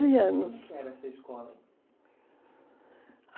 anos. Como que era essa escola?